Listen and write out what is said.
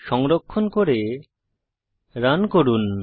সংরক্ষণ করে রান করুন